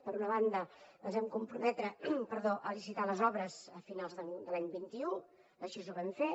per una banda ens vam comprometre a licitar les obres a finals de l’any vint un i així ho vam fer